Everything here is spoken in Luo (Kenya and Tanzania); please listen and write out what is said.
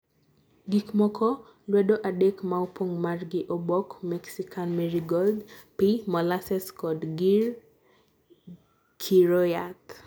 gikmoko: lwedo adek maopong' mar gi obok mexican merigold, pii, molasses kod gir kiro yath